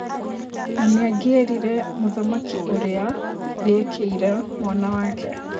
Na nĩangĩerire mũthamaki ũrĩa rĩekĩire mwana wake.